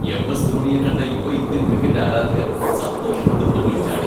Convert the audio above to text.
M. S. ധോണിയെ കണ്ട യുവ ഇന്ത്യൻ ക്രിക്കറ്റ് ആരാധകൻ സന്തോഷം കൊണ്ട് തുള്ളിച്ചാടി.